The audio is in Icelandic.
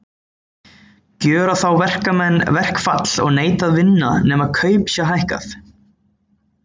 Gjöra þá verkamenn verkfall og neita að vinna, nema kaup sé hækkað.